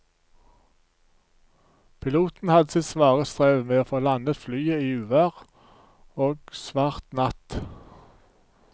Piloten hadde sitt svare strev med å få landet flyet i uvær og svart natt.